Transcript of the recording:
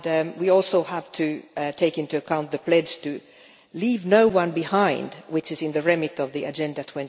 We also have to take into account the pledge to leave no one behind, which is in the remit of Agenda